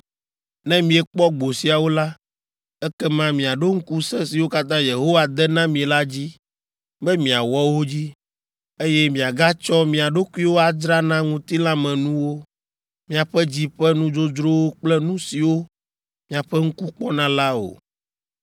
Ne miekpɔ gbo siawo la, ekema miaɖo ŋku se siwo katã Yehowa de na mi la dzi be miawɔ wo dzi, eye miagatsɔ mia ɖokuiwo adzra na ŋutilãmenuwo, miaƒe dzi ƒe nudzodzrowo kple nu siwo miaƒe ŋku kpɔna la o.